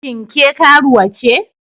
Shin ke karuwa ce?